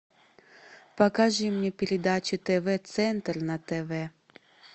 покажи мне передачу тв центр на тв